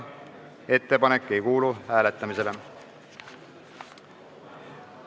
Ettepanek ei kuulu hääletamisele.